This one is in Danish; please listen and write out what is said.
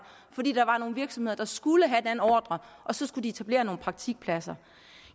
fordi der var nogle virksomheder der skulle have den ordre og så skulle de etablere nogle praktikpladser